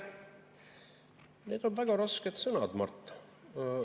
Need on väga rasked sõnad, Mart.